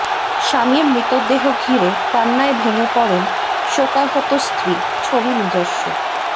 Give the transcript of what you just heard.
স্বামীর মৃতদেহ ঘিরে কান্নায় ভেঙ্গে পড়েন শোকাহত স্ত্রী ছবি নিজস্ব